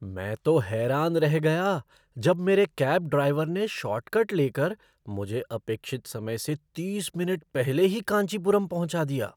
मैं तो हैरान रह गया जब मेरे कैब ड्राइवर ने शॉर्टकट लेकर मुझे अपेक्षित समय से तीस मिनट पहले ही कांचीपुरम पहुँचा दिया!